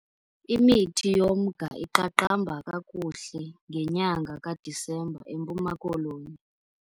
Imithi yomnga iqaqamba kakuhle ngenyanga kaDisemba eMpuma Koloni.